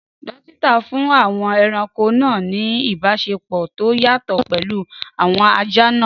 Dókítà fún àwọn ẹranko náà ní ìbáṣepọ̀ tó yàtọ̀ pẹ̀lú àwọn ajá náà